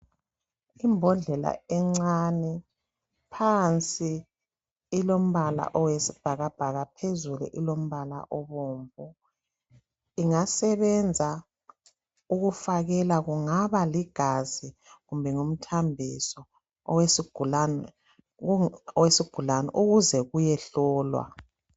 Imbhodlela encane, phansi ilombala oyisibhakabhaka phezulu ilombala obomvu. Ingasebenza ukufakela kungaba ligazi kumbe ngumthambiso owesigulane ukuze kuyehlolwa.